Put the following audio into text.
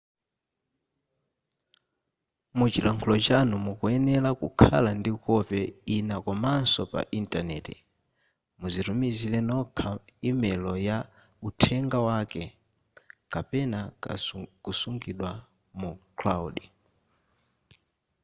muchilankhulo chanu mukuyenera kukhala ndi kope ina komanso pa intaneti muzitumizire nokha imelo ya uthenga wake kapena kusungidwa mu cloud”